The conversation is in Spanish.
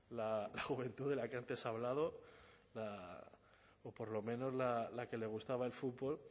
la juventud de la que antes se ha hablado o por lo menos la que le gustaba el fútbol